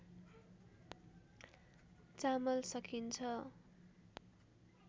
चामल सकिन्छ